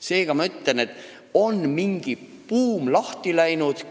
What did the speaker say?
Seega, mingi buum on lahti läinud.